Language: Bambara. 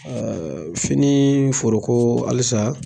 Ɛɛ fini foro ko halisa